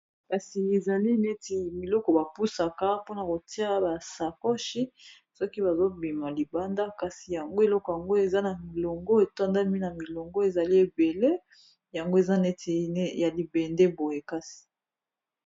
Kasi ezali neti biloko bapusaka mpona kotia basakoshi soki bazobima libanda kasi yango eloko yango eza na milongo etondami na milongo ezali ebele yango eza neti ya libende boye kasi.